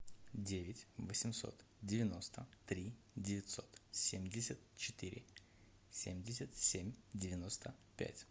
девять восемьсот девяносто три девятьсот семьдесят четыре семьдесят семь девяносто пять